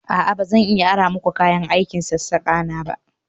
A'a ba zan iya aron ku kayan aikin sassaka na ba